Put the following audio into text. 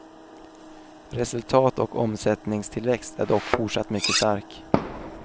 Resultat och omsättningstillväxt är dock fortsatt mycket stark.